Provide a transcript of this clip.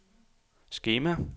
skema